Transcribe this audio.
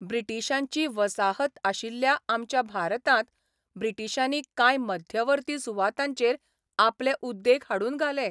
ब्रिटिशांची वसाहत आशिल्ल्या आमच्या भारतांत ब्रिटीशांनी काय मध्यवर्ती सुवातांचेर आपले उद्येग हाडून घाले.